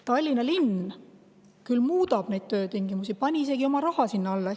Tallinna linn muudab ka töötingimusi, pani isegi oma raha sinna alla.